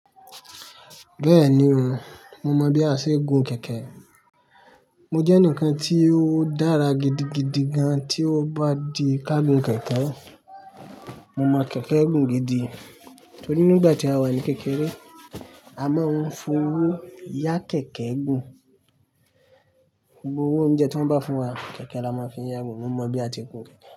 Bẹ́ẹ̀ni o, mo mọ̀ bí a ṣe ń gun kẹ̀kẹ́. Mo jẹ́ eǹikan tí ó dára gidigidi gan tí ó bá di ká gun kẹ̀kẹ́. Mo mọ̀ kẹ̀kẹ́ gùn gidi torí nígbà tí a wà ní kékeré, a máa ń fi owó yá kẹ̀kẹ́ gùn. Gbogbo owó oúnjẹ tí wọ́n bá fún wa, kẹ̀kẹ́ là máa fi ń yá gun. Mo mọ̀ bí a ti ń gun kẹ̀kẹ́